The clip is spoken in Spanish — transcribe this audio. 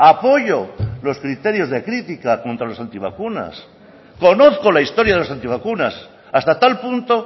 apoyo los criterios de crítica contra los antivacunas conozco la historia de los antivacunas hasta tal punto